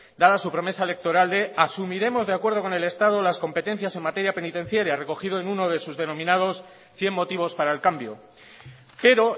dada su promesa electoral de asumiremos de acuerdo con el estado las competencias en materia penitenciaria recogido en uno de sus denominados cien motivos para el cambio pero